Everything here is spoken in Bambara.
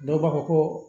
Dɔw b'a fɔ ko